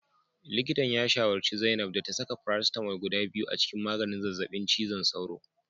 Likitan ya shawarci zainab da ta saka paracetamol guda biyu a cikin maganin zazzabin cizon sauro